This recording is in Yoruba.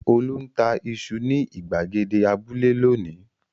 Olú ń ta iṣu ní ìgbàgede abúlé lónìí!